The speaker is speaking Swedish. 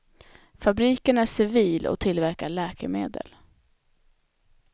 Fabriken är civil och tillverkar läkemedel.